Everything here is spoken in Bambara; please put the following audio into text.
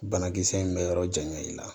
Banakisɛ in bɛ yɔrɔ janya i la